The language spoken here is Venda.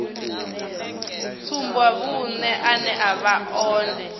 tsumbavhuṅe ane a vha one